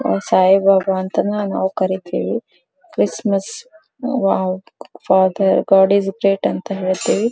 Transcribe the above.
ಸಾಯಿಬಾಬಾ ಅಂತಾನೂ ನಾವು ಕರೀತೀವಿ Christmas wow father God is great ಅಂತಾ ಹೆಳ್ತಿವಿ.